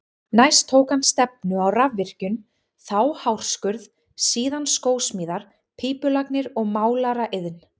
Næst tók hann stefnu á rafvirkjun, þá hárskurð, síðan skósmíðar, pípulagnir og málaraiðn.